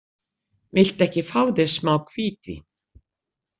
Viltu ekki fá þér smá hvítvín?